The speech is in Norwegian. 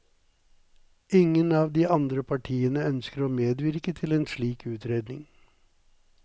Ingen av de andre partiene ønsker å medvirke til en slik utredning.